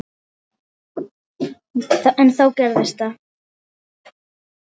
En þá gerðist það.